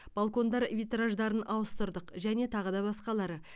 балкондар витраждарын ауыстырдық және тағы да басқалары